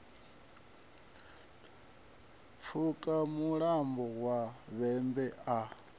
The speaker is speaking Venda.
pfuka mulambo wa vhembe a